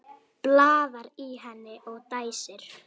Blaðar í henni og dæsir.